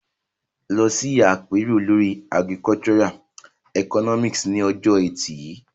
Lọ sí àpérò lórí Agricultural Economics ní ọjọ́ Ẹtì yìí.